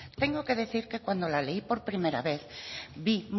tengo que decir que cuando la leí por primera vez vi